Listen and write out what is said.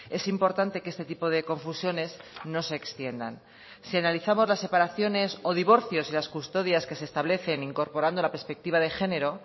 es importante que este tipo de confusiones no se extiendan si analizamos las separaciones o divorcios y las custodias que se establecen incorporando la perspectiva de género